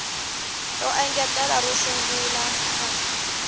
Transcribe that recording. ro engetela ro sungula fal